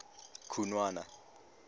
khunwana